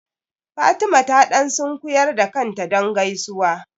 Fatima ta ɗan sunkuyar da kanta don gaisuwa.